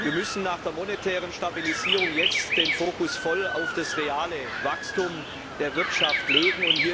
Wir müssen nach der monetären Stabilisierung jetzt den Fokus voll auf das reale Wachstum der Wirtschaft legen.